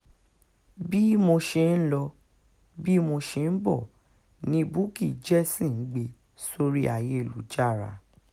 bí mo ṣe ń lọ bí mo ṣe ń bọ̀ ni bukky jesse ń gbé sórí ayélujára